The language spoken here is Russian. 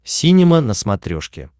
синема на смотрешке